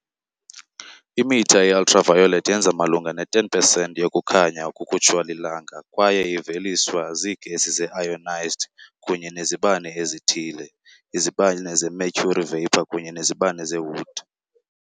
Imitha ye-Ultraviolet yenza malunga ne-10 pesenti yokukhanya okukhutshwa liLanga kwaye iveliswa ziigesi ze-ionized kunye nezibane ezithile, izibane zemercury vapor kunye nezibane zeWood.